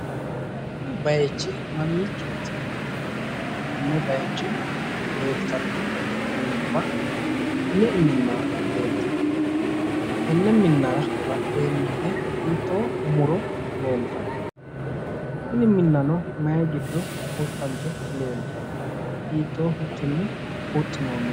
Kuni bayichi mamiichooti? Konne bayicho leeltanno minubba me"e minna leeltanno? Tenne minnara badheenni hige hiittoo muro leeltanno? Tini minnano mayi giddo huxxante leeltanno? Hiittoo huxxinni huxxinoonni?